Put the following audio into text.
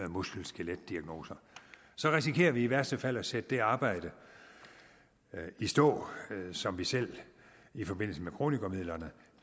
muskel skelet diagnoser risikerer vi i værste fald at sætte det arbejde i stå som vi selv i forbindelse med kronikermidlerne